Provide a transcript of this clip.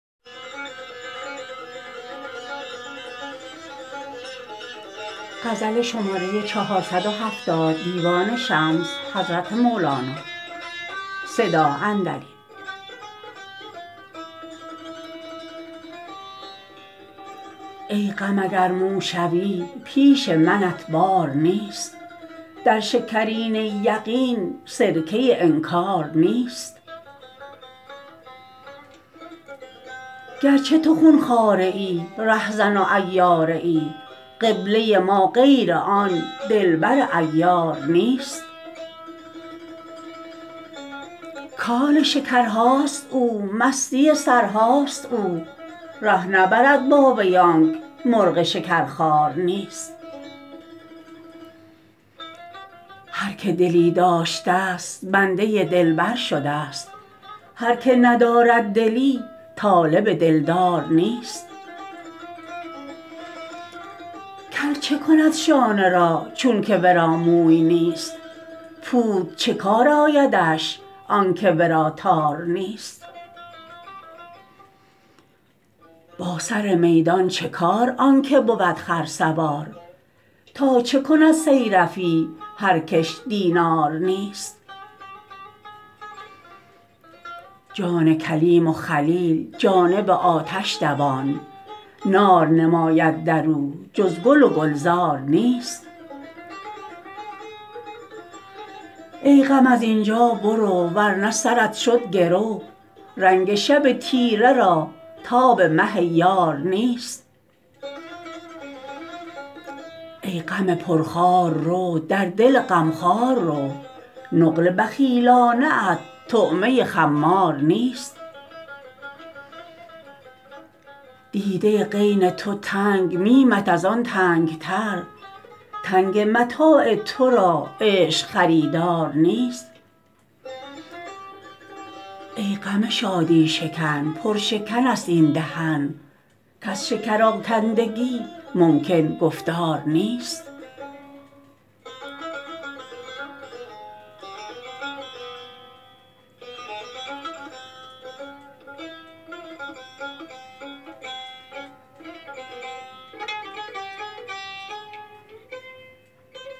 ای غم اگر مو شوی پیش منت بار نیست در شکرینه یقین سرکه انکار نیست گر چه تو خون خواره ای رهزن و عیاره ای قبله ما غیر آن دلبر عیار نیست کان شکرهاست او مستی سرهاست او ره نبرد با وی آنک مرغ شکرخوار نیست هر که دلی داشتست بنده دلبر شدست هر که ندارد دلی طالب دلدار نیست کل چه کند شانه را چونک ورا موی نیست پود چه کار آیدش آنک ورا تار نیست با سر میدان چه کار آن که بود خرسوار تا چه کند صیرفی هر کش دینار نیست جان کلیم و خلیل جانب آتش دوان نار نماید در او جز گل و گلزار نیست ای غم از این جا برو ور نه سرت شد گرو رنگ شب تیره را تاب مه یار نیست ای غم پرخار رو در دل غم خوار رو نقل بخیلانه ات طعمه خمار نیست حلقه غین تو تنگ میمت از آن تنگ تر تنگ متاع تو را عشق خریدار نیست ای غم شادی شکن پر شکرست این دهن کز شکرآکندگی ممکن گفتار نیست